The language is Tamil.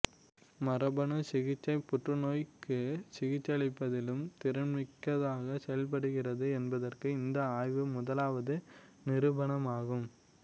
மரபணு சிகிச்சை புற்றுநோய்க்கு சிகிச்சையளிப்பதிலும் திறன்மிக்கதாக செயல்படுகிறது என்பதற்கு இந்த ஆய்வு முதலாவது நிரூபணமாகும்